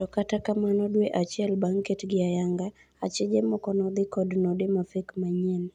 To kata kamano dwee achiel bang' ketgi ayanga, achije moko nodhii kod node manyien mafek.